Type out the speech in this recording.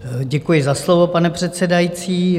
Děkuji za slovo, pane předsedající.